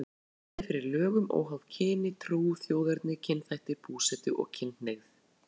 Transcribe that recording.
Tryggja skal jafnræði fyrir lögum óháð kyni, trú, þjóðerni, kynþætti, búsetu og kynhneigð.